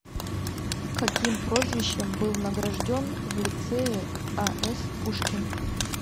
каким прозвищем был награжден в лицее а с пушкин